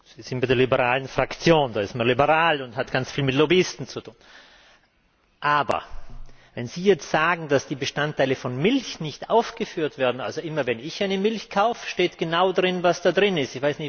Sie sind bei der liberalen Fraktion, da ist man liberal und hat ganz viel mit Lobbyisten zu tun. Aber wenn Sie jetzt sagen, dass die Bestandteile von Milch nicht aufgeführt werden Immer, wenn ich eine Milch kaufe, steht genau darauf, was darin ist.